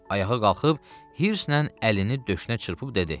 Ayağa qalxıb hirslə əlini döşünə çırpıb dedi.